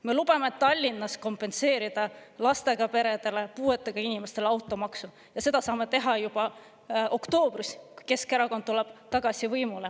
Me lubame Tallinnas kompenseerida lastega peredele, puuetega inimestele automaksu ja seda saame teha juba oktoobris, kui Keskerakond tuleb tagasi võimule.